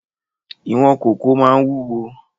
Ìwọ̀n kòkó máa ń wúwo